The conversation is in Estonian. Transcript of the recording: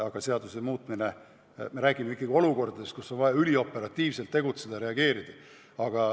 Aga me räägime ikkagi olukordadest, kus on vaja ülioperatiivselt reageerida.